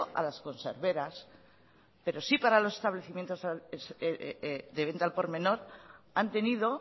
a las conserveras pero sí para los establecimientos de venta al por menor han tenido